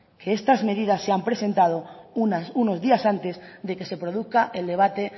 que estas medidas se han presentado unos días antes de que se produzca el debate